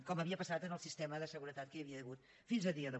com havia passat en el sistema de seguretat que hi havia hagut fins avui dia